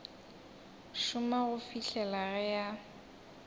šoma go fihla ge a